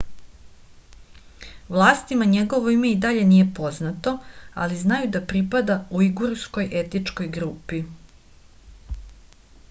vlastima njegovo ime i dalje nije poznato ali znaju da pripada ujgurskoj etničkoj grupi